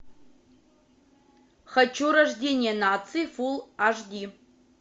хочу рождение нации фулл аш ди